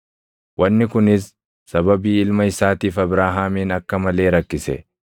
Wanni kunis sababii ilma isaatiif Abrahaamin akka malee rakkise.